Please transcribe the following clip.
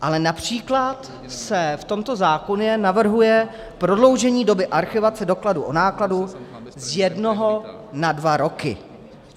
Ale například se v tomto zákoně navrhuje prodloužení doby archivace dokladu o nákladu z jednoho na dva roky.